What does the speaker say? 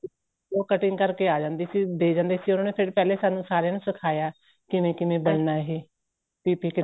ਉਹ cutting ਕਰਕੇ ਆਂ ਜਾਂਦੀ ਸੀ ਦੇ ਜਾਂਦੀ ਸੀ ਉਹਨਾ ਨੇ ਫ਼ਿਰ ਪਹਿਲੇ ਸਾਨੂੰ ਸਾਰਿਆਂ ਨੂੰ ਸਿਖਾਇਆਂ ਕਿਵੇਂ ਕਿਵੇਂ ਬਣਣਾ ਏ PPE